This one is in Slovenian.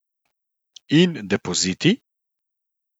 In depoziti?